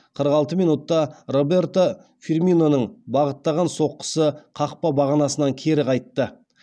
қырық алты минутта роберто фирминоның бағыттаған соққысы қақпа бағанасынан кері қайтты